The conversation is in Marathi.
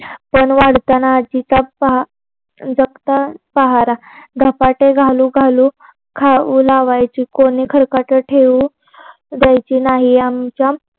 पण वाढताना आज्जीचा जागता पहारा धपाटे घालू घालू खाऊ घालायची. कोणी खरकाटं ठेऊ द्यायची नाही. आमच्या